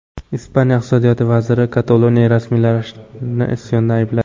Ispaniya iqtisodiyot vaziri Kataloniya rasmiylarini isyonda aybladi.